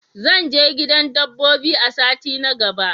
Zan je gidan dabbobi a sati na gaba.